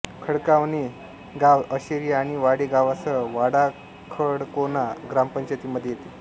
खडकावणे गाव अशेरी आणि वाडे गावासह वाडाखडकोणा ग्रामपंचायतीमध्ये येते